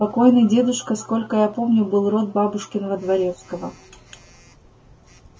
покойный дедушка сколько я помню был род бабушкиного дворецкого